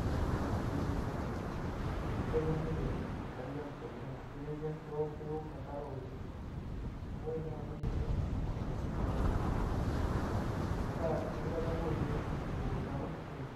nijio enormushele amu kenyorr ninche nkariak keook enkare oleng' neeku ore naai teniingorr ena daa kakintadamu oleng' emukunta ormushele.